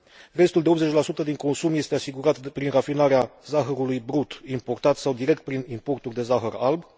Restul de 80 din consum este asigurat prin rafinarea zahărului brut importat sau direct prin importul de zahăr alb.